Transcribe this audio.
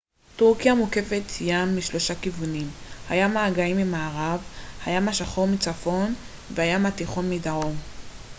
טורקיה מוקפת ים משלושה כיוונים הים האגאי ממערב הים השחור מצפון והים התיכון מדרום